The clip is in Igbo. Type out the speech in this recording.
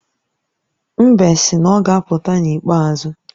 Mbe sị na ọ ga-apụta n’ikpeazụ